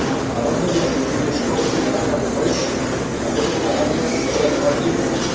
a rodný jazyk im je v škole pridaný ako trest, ako robota navyše, ktorá ich má znechutiť.